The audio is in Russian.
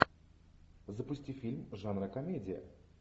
запусти фильм жанра комедия